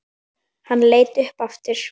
Hann leit upp aftur.